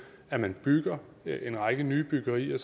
at man bygger en række nye byggerier